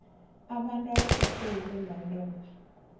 abantu abaphethwe yintumbantonga